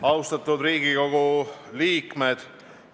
Austatud Riigikogu liikmed!